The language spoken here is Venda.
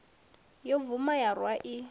ya bvuma ya rwa i